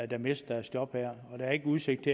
der mister deres job nu og der er ikke udsigt